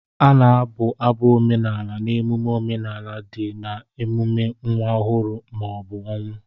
A na-abụ abụ omenala n'emume omenala dị ka emume nwa ọhụrụ ma ọ bụ ọnwụ.